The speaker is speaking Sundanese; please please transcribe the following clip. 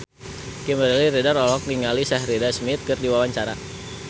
Kimberly Ryder olohok ningali Sheridan Smith keur diwawancara